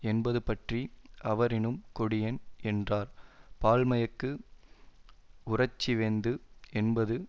என்பதுபற்றி அவரினும் கொடியன் என்றார் பால்மயக்கு உறழ்ச்சி வேந்து என்பது